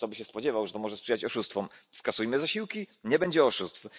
No kto by się spodziewał, że to może sprzyjać oszustwom! Zniesiemy zasiłki nie będzie oszustw.